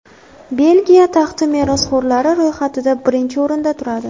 Belgiya taxti merosxo‘rlari ro‘yxatida birinchi o‘rinda turadi.